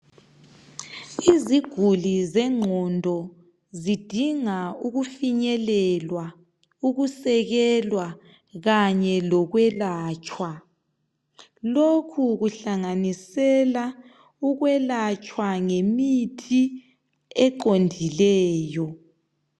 Iziguli zengqondo zidinga ukufinyelelwa, ukusekelwa kanye lokwelatshwa. Lokhu kuhlanganisela ukwelatshwa ngemithi eqondileyo.